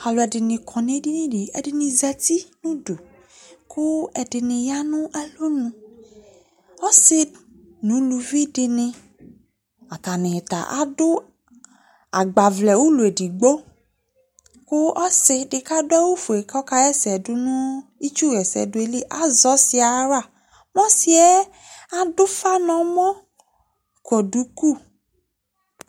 oAlʊ ɛdɩŋɩ ƙɔ ŋʊ edɩŋɩ Ɛdɩnɩ zatɩ ŋʊdʊ ƙʊ ɛdɩŋɩ ƴa ŋʊ alɔŋ Ɔsɩ ŋʊ ʊlʊʋɩ dɩŋɩ ata ŋɩ ta adʊ agbaʋlɛ ʊlɔ edɩgbo ƙʊ ɔsɩ dɩ kadʊ awʊ fʊe ƙɔƙa ƴa ɛsɛ dʊŋʊ ɩtsʊƴɛsɛdʊ ƴelɩ Azɛ ɔsɩ ƴɛ aƴawla Ɔsɩ ƴɛ adʊ ʊfa ŋɔmɔ ƙɔ dʊƙʊ